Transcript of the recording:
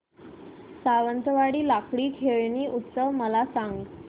सावंतवाडी लाकडी खेळणी उत्सव मला सांग